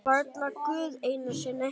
Varla Guð einu sinni!